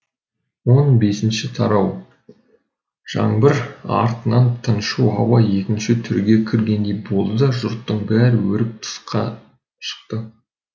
он бесінші тарау жаңбыр артынан тыншу ауа екінші түрге кіргендей болды да жұрттың бәрі өріп тысқа шықты